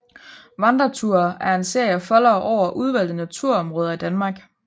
Vandreture er en serie af foldere over udvalgte naturområder i Danmark